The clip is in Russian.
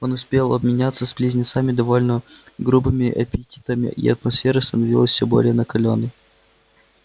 он успел обменяться с близнецами довольно грубыми эпитетами и атмосфера становилась все более накалённой